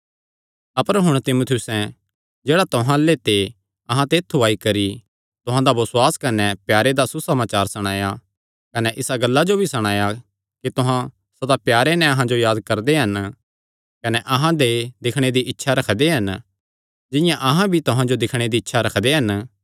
अपर हुण तीमुथियुसें जेह्ड़ा तुहां अल्ले ते अहां दे ऐत्थु आई करी तुहां दा बसुआस कने प्यारे दा सुसमाचार सणाया कने इसा गल्ला जो भी सणाया कि तुहां सदा प्यारे नैं अहां जो याद करदे हन कने अहां दे दिक्खणे दी इच्छा रखदे हन जिंआं अहां भी तुहां जो दिक्खणे दी इच्छा रखदे हन